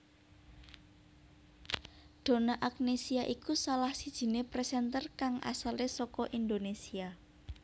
Donna Agnesia iku salah sijiné presenter kang asale saka Indonésia